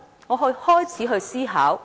然後，我開始思考。